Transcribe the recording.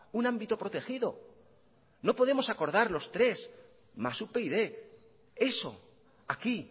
un ámbito protegido no podemos acordar los tres más upyd eso aquí